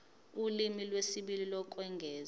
ulimi lwesibili lokwengeza